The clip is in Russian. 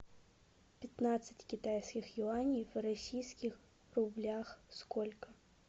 пятнадцать китайских юаней в российских рублях сколько